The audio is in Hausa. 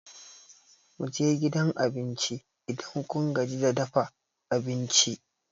Mu je gidan abinci, Idan kun gaji da dafa abinci.